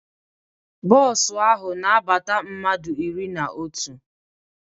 Bos ahụ na abata mmadụ iri na otu